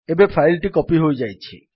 ଏବେ ଫାଇଲ୍ ଟି କପୀ ହୋଇଯାଇଛି